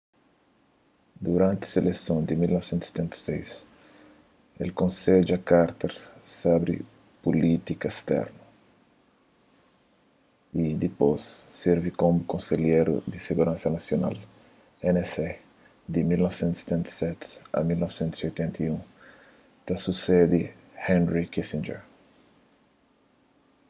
duranti seleson di 1976 el konsedja carter sobri pulítika sternu y dipôs sirvi komu konselheru di siguransa nasional nsa di 1977 a 1981 ta susede henry kissinger